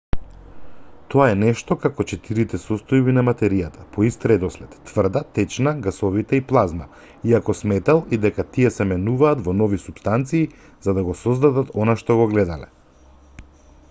тоа е нешто како четирите состојби на материјата по ист редослед: тврда течна гасовита и плазма иако сметал и дека тие се менуваат во нови супстанции за да го создадат она што го гледаме